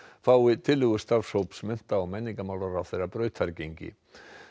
fái tillögur starfshóps mennta og menningarmálaráðherra brautargengi